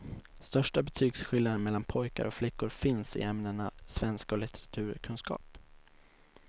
Största betygsskillnaderna mellan pojkar och flickor finns i ämnena svenska och litteraturkunskap.